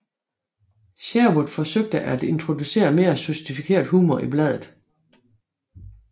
Sherwood forsøgte at introducere mere sofistikeret humor i bladet